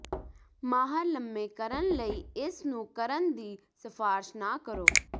ਮਾਹਰ ਲੰਮੇ ਕਰਨ ਲਈ ਇਸ ਨੂੰ ਕਰਨ ਦੀ ਸਿਫਾਰਸ਼ ਨਾ ਕਰੋ